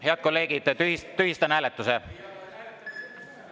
Head kolleegid, tühistan hääletuse.